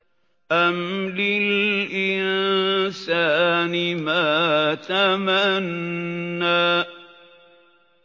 أَمْ لِلْإِنسَانِ مَا تَمَنَّىٰ